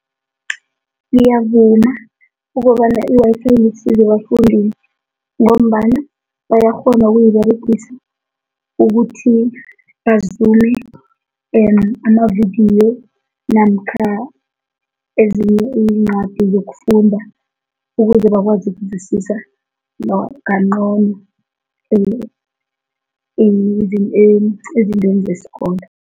Ngiyavuma ukobana iwayifayi ilisizo ebafundini ngombana bayakghona ukuyiberegisa ukuthi bazume amavidiyo namkha ezinye iincwadi zokufunda ukuze bakwazi ukizwisisa kancono ezintweni zesikolo.